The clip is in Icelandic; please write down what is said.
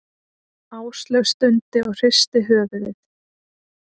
Áslaug stundi og hristi höfuðið.